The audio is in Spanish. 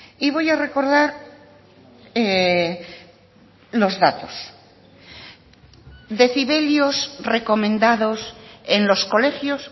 y voy a recordar los datos decibelios recomendados en los colegios